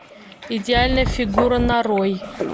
идеальная фигура нарой